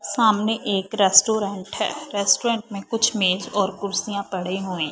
सामने एक रेस्टोरेंट है रेस्टोरेंट में कुछ मेज और कुर्सियां पड़े हुए--